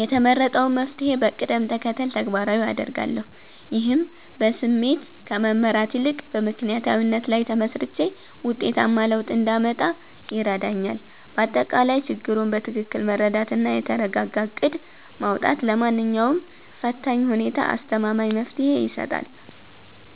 የተመረጠውን መፍትሔ በቅደም ተከተል ተግባራዊ አደርጋለሁ። ይህም በስሜት ከመመራት ይልቅ በምክንያታዊነት ላይ ተመስርቼ ውጤታማ ለውጥ እንዳመጣ ይረዳኛል። ባጠቃላይ፣ ችግሩን በትክክል መረዳትና የተረጋጋ እቅድ ማውጣት ለማንኛውም ፈታኝ ሁኔታ አስተማማኝ መፍትሔ ይሰጣል።